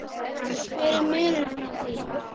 hver er munurinn á því?